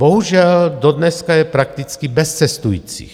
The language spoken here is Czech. Bohužel dodneška je prakticky bez cestujících.